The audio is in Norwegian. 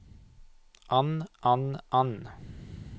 an an an